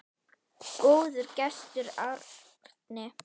Góður gestur, Árni.